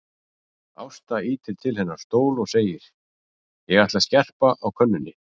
Ásta ýtir til hennar stól og segir: Ég ætla að skerpa á könnunni.